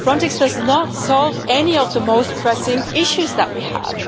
Frontex does not solve any of the most pressing issues that we have.